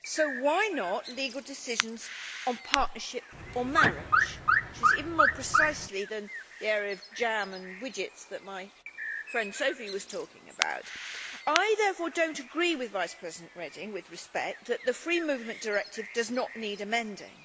So why not legal decisions on partnership or marriage, which is even more precise than the area of jam and widgets that my friend Sophie was talking about? I therefore do not agree with Vice President Reding, with respect, that the Free Movement Directive does not need amending.